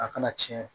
A kana tiɲɛ